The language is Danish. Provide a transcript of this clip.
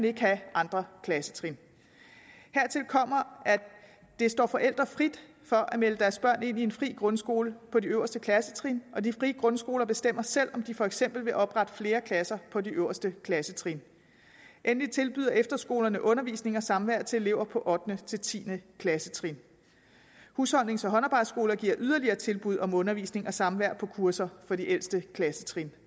ikke have andre klassetrin hertil kommer at det står forældre frit for at melde deres børn ind i en fri grundskole på de øverste klassetrin og de frie grundskoler bestemmer selv om de for eksempel vil oprette flere pladser på de øverste klassetrin endelig tilbyder efterskolerne undervisning og samvær til elever på ottende til tiende klassetrin husholdnings og håndarbejdsskoler giver yderligere tilbud om undervisning og samvær på kurser for de ældste klassetrin